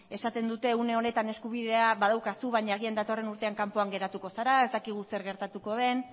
esaten dute une honetan eskubidea badaukazu baina agian datorren urtean kanpoan geratuko zara ez dakigu zer gertatuko den